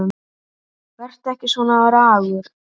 Vertu ekki svona ragur.